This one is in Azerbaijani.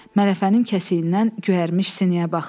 Mələfənin kəsiyindən göyərmiş sinəyə baxdı.